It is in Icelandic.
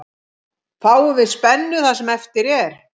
Fáum við spennu það sem eftir er.